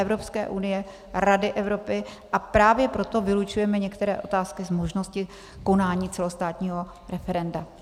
Evropské unie, Rady Evropy, a právě proto vylučujeme některé otázky z možnosti konání celostátního referenda.